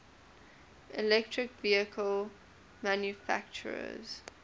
electric vehicle manufacturers